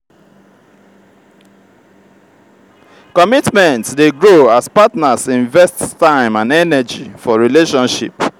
commitment dey grow as partners invest time and energy for relationship.